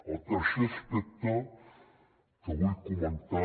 el tercer aspecte que vull comentar